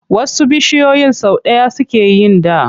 Wasu bishiyoyin sau ɗaya suke yin ɗa.